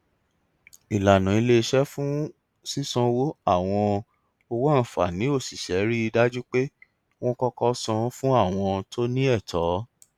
ìlànà iléiṣẹ fún sísanwó àwọn owó àǹfààní òṣìṣẹ rí i dájú pé wọn kọkọ san fún àwọn tó ní ẹtọ